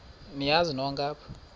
niyazi nonk apha